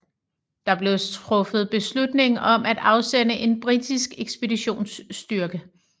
Der blev truffet beslutning om at afsende en britisk ekspeditionsstyrke